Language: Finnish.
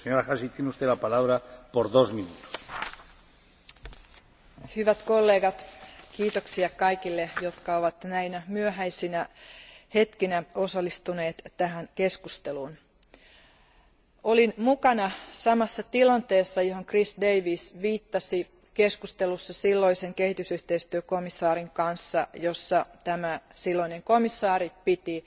Arvoisa puhemies, hyvät kollegat, kiitoksia kaikille, jotka ovat näinä myöhäisinä hetkinä osallistuneet tähän keskusteluun. Olin mukana tilanteessa, johon Chris Davies viittasi keskustelussa silloisen kehitysyhteistyökomissaarin kanssa, jossa tämä silloinen komissaari piti